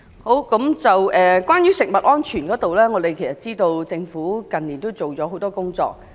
關於食物安全方面，我們知道政府近年做了很多工作。